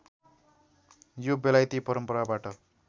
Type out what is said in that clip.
यो बेलायती परम्पराबाट